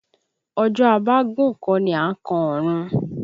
Ọjọ́ a bá gùn kọ́ ni à á kan ọ̀run